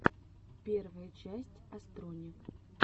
первая часть астрони